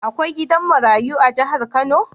Akwai gidan marayu a jahar kano?